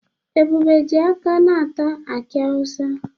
Ebube ji aka ná-ata aki awusa.